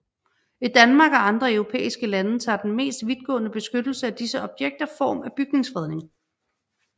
I Danmark og andre europæiske lande tager den mest vidtgående beskyttelse af disse objekter form af bygningsfredning